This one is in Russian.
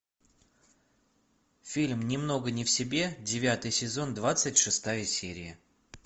фильм немного не в себе девятый сезон двадцать шестая серия